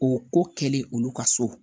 O ko kɛlen olu ka so